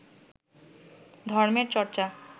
ধর্মের চর্চা